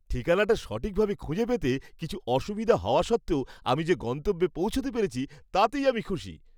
ঠিকানাটা সঠিকভাবে খুঁজে পেতে কিছু অসুবিধা হওয়া সত্ত্বেও আমি যে গন্তব্যে পৌঁছতে পেরেছি তাতেই আমি খুশি।